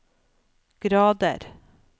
grader